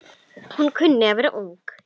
Hún kunni að vera ung.